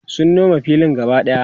sun Nome filin gaba ɗaya